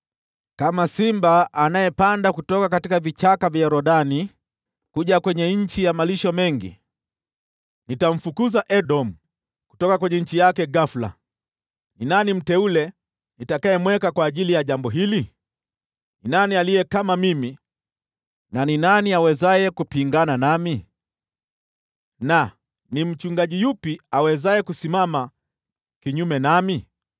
“Kama simba anayepanda kutoka vichaka vya Yordani kuja kwenye nchi ya malisho mengi, ndivyo nitamfukuza Edomu kutoka nchi yake ghafula. Ni nani aliye mteule nitakayemweka kwa ajili ya jambo hili? Ni nani aliye kama mimi, na ni nani awezaye kunipinga? Tena ni mchungaji yupi awezaye kusimama kinyume nami?”